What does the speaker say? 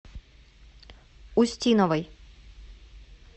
устиновой